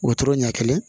Wotoro ɲɛ kelen